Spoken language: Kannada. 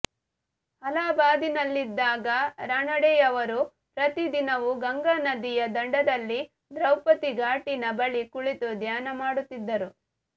ಅಲಹಾಬಾದಿನಲ್ಲಿದ್ದಾಗ ರಾನಡೆಯವರು ಪ್ರತಿ ದಿನವೂ ಗಂಗಾನದಿಯ ದಡದಲ್ಲಿ ದ್ರೌಪದೀ ಘಾಟಿನ ಬಳಿ ಕುಳಿತು ಧ್ಯಾನ ಮಾಡುತ್ತಿದ್ದರು